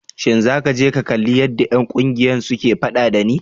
Shin za ka je ka kalli yadda ’yan kungiyar suke fada da ni?